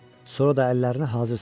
Sonra da əllərini hazır saxla,